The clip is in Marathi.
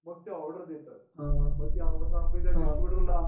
मग ते ऑर्डर देतात मग ती ऑर्डर